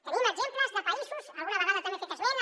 tenim exemples de països alguna vegada també n’he fet esment